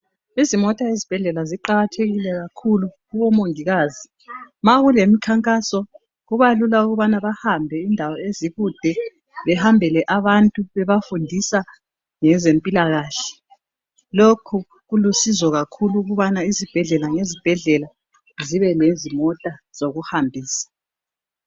Izimota ezibhedlela ziqakathekile kakhulu kubomongikazi ma kulemikhankaso kubalula ukubana behambe indawo ezikude behambele abantu bebafundisa ngezempila kahle lokhu kulusizo kakhulu ukubana izibhedlela lezibhedlela zibe lezimota zokuhambisa